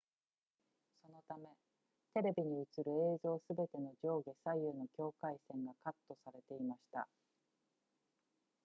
そのためテレビに映る映像すべての上下左右の境界線がカットされていました